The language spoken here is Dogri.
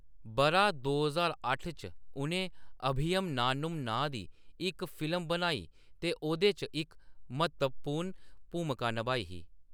बʼरा दो ज्हार अट्ठ च उʼनें ‘अभियम नानुम` नांऽ दी इक फिल्म बनाई ते ओह्‌‌‌‌दे च इक म्हत्तवपूर्ण भूमका नभाई ही।